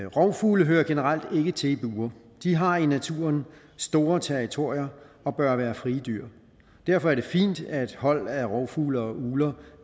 rovfugle hører generelt ikke til i bure de har i naturen store territorier og bør være frie dyr derfor er det fint at hold af rovfugle og ugler